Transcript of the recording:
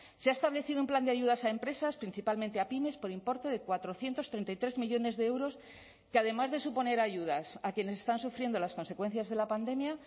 se ha establecido un plan de ayudas a empresas principalmente a pymes por importe de cuatrocientos treinta y tres millónes de euros que además de suponer ayudas a quienes están sufriendo las consecuencias de la pandemia